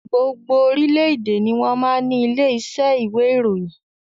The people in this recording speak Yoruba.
Gbogbo orílédé ni wọn máa ń ní ilé iṣẹ́ ìwé ìròyìn